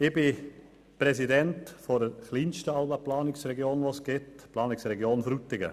Ich bin Präsident der kleinsten aller Planungsregionen, der Planungsregion Frutigen.